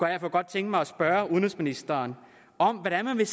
jeg kunne godt tænke mig at spørge udenrigsministeren om hvordan man vil